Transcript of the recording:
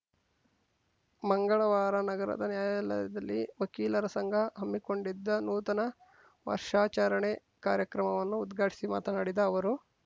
ಮಂಗಳವಾರ ನಗರದ ನ್ಯಾಯಾಲಯದಲ್ಲಿ ವಕೀಲರ ಸಂಘ ಹಮ್ಮಿಕೊಂಡಿದ್ದ ನೂತನ ವರ್ಷಾಚರಣೆ ಕಾರ್ಯಕ್ರಮವನ್ನು ಉದ್ಘಾಟಿಸಿ ಮಾತನಾಡಿದ ಅವರು